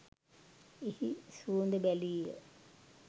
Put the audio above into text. එහි සුවඳ බැලීය.